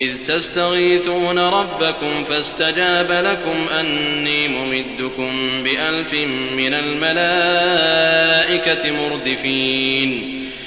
إِذْ تَسْتَغِيثُونَ رَبَّكُمْ فَاسْتَجَابَ لَكُمْ أَنِّي مُمِدُّكُم بِأَلْفٍ مِّنَ الْمَلَائِكَةِ مُرْدِفِينَ